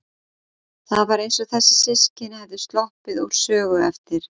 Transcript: Það var eins og þessi systkini hefðu sloppið úr sögu eftir